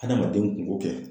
Adamaden kunko kɛ